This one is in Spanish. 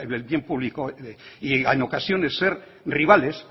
el bien público y en ocasiones ser rivales